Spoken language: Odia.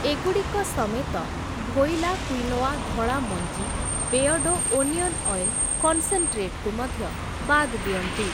ଏଗୁଡ଼ିକ ସମେତ, ଭୋଇଲା କ୍ୱିନୋଆ ଧଳା ମଞ୍ଜି‌, ବେୟର୍ଡ଼ୋ ଓନିଅନ୍ ଅଏଲ୍ କନ୍‌ସେନ୍‌ଟ୍ରେଟ୍‌ କୁ ମଧ୍ୟ ବାଦ୍ ଦିଅନ୍ତୁ ।